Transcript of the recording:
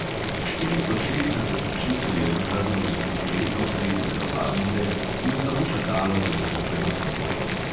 Štiristo šestdeset oči se je zazrlo v silhueto sredi telovadnice in samo čakalo, da se bo premaknila.